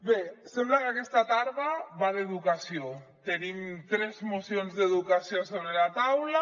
bé sembla que aquesta tarda va d’educació tenim tres mocions d’educació sobre la taula